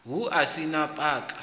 hu si a u paka